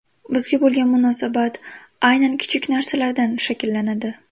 Bizga bo‘lgan munosabat aynan kichik narsalardan shakllanadi.